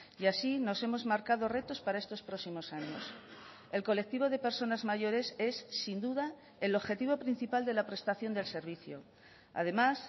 y así nos hemos marcado retos para estos próximos años el colectivo de personas mayores es sin duda el objetivo principal de la prestación del servicio además